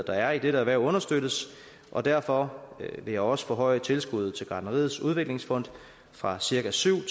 er i dette erhverv understøttes og derfor vil jeg også forhøje tilskuddet til gartneriets udviklingsfond fra cirka syv